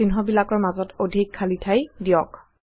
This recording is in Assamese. আৰু চিহ্নবিলাকৰ মাজত অধিক খালী ঠাই দিয়ক